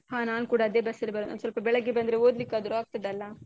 ಹಾ ನಾನ್ ಕೂಡ ಅದೇ bus ಲ್ಲಿ ಬರೂ ಒಂದ್ ಸ್ವಲ್ಪ ಬೆಳಗ್ಗೆ ಬಂದ್ರೆ ಓದ್ಲಿಕಾದ್ರು ಆಗ್ತದಲ್ಲ.